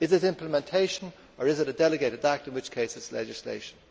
Is it implementation, or is it a delegated act in which case it is legislation?